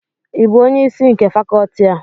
ị bụ onye isi nke Fakọọti a?